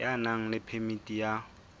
ya nang le phemiti ya